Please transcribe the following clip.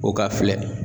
O ka filɛ